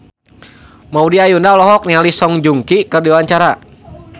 Maudy Ayunda olohok ningali Song Joong Ki keur diwawancara